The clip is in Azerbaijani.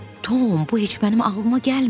Tom, bu heç mənim ağlıma gəlməyib.